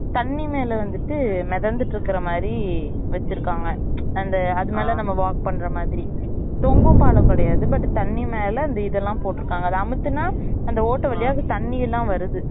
தண்ணி மேல வந்துட்டு மெதந்துட்டு இருக்குற மாறி வச்சிருக்காங்க அந்த அதுமேல நம்ம walk பண்ற மாதிரி தொங்கும் பாலம் கிடையாது but தண்ணி மேல இந்த இத எல்லாம் போட்டு இருக்காங்க அத அமத்துனா அந்த ஓட்ட வழியா அந்த தண்ணில்லாம் வருது